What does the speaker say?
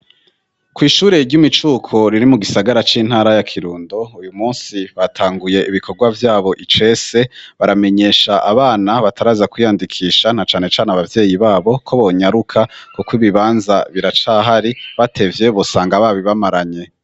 Kwishuri ry'imicuko riri mu gisagara c'intara ya Kirundo uyu munsi batanguye ibikorwa vyabo icese baramenyesha abana bataraza kwiyandikisha na cane cane abavyeyi babo ko bonyaruka kuko ibibanza biracahari batevye bosanga babibamaranye.